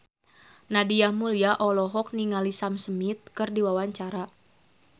Nadia Mulya olohok ningali Sam Smith keur diwawancara